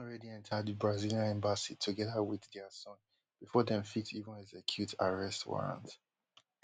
she bin don already enta di brazillian embassy togeda wit dia son bifor dem fit even execute arrest warrant